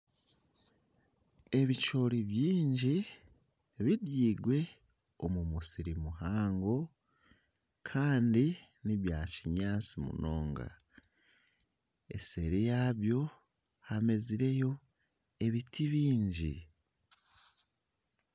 Ebicoori bingi bibirwe omu musiri muhango kandi n'ebyakinyaatsi munonga, eseeri yaabyo hamezireyo ebiti bingi